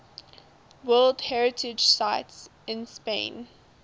world heritage sites in spain